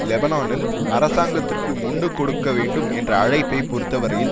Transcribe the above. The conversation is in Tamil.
லெபனானில் அரசாங்கத்திற்கு முண்டு கொடுக்க வேண்டும் என்ற அழைப்பை பொறுத்தவரையில்